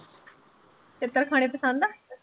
ਛਿੱਤਰ ਖਾਣੇ ਪਸੰਦ ਆ।